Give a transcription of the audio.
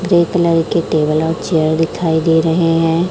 Grey colour के table और chair दिखाई दे रहे हैं।